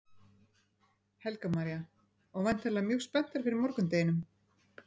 Helga María: Og væntanlegar mjög spenntar fyrir morgundeginum?